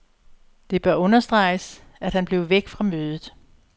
Det bør understreges, at han blev væk fra mødet.